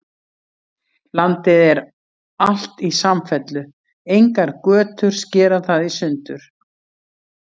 Landið er alt í samfellu, engar götur skera það í sundur.